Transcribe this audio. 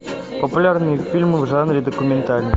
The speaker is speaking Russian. популярные фильмы в жанре документальный